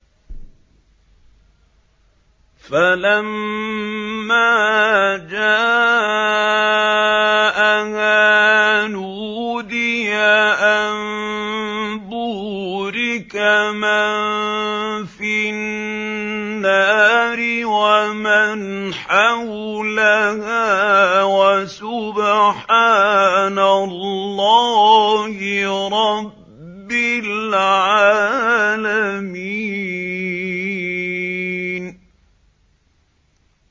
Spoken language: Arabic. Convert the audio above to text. فَلَمَّا جَاءَهَا نُودِيَ أَن بُورِكَ مَن فِي النَّارِ وَمَنْ حَوْلَهَا وَسُبْحَانَ اللَّهِ رَبِّ الْعَالَمِينَ